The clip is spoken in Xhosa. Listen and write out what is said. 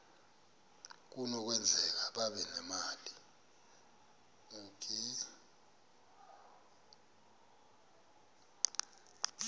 kunokwenzeka babe nemali